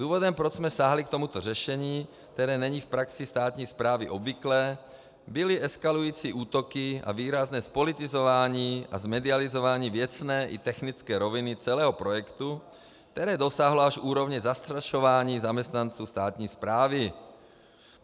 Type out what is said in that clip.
Důvodem, proč jsme sáhli k tomuto řešení, které není v praxi státní správy obvyklé, byly eskalující útoky a výrazné zpolitizování a zmedializování věcné i technické roviny celého projektu, které dosáhlo až úrovně zastrašování zaměstnanců státní správy.